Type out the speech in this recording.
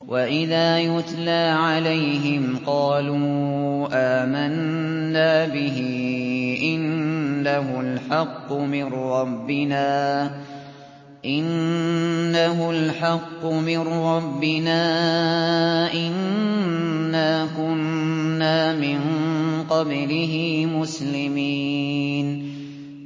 وَإِذَا يُتْلَىٰ عَلَيْهِمْ قَالُوا آمَنَّا بِهِ إِنَّهُ الْحَقُّ مِن رَّبِّنَا إِنَّا كُنَّا مِن قَبْلِهِ مُسْلِمِينَ